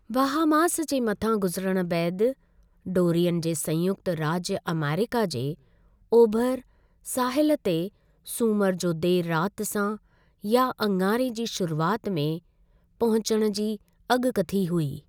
Bahamas जे मथां गुज़िरणु बैदि, डोरियन जे संयुक्त राज्य अमेरिका जे ओभिरे साहिलु ते सूमर जो देर राति सां या आङारे जी शुरुआति में पहुँचणु जी अॻुकथी हुई।